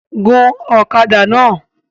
Gun ọ̀kadà náà!